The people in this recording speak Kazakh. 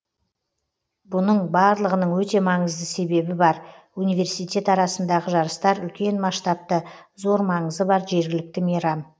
бұның барлығының өте маңызды себебі бар университет арасындағы жарыстар үлкен масштабты зор маңызы бар жергілікті мейрам